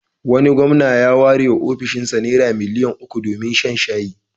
Wani gwamna ya warewa ofishinsa Naira miliyan uku domin shan shayi.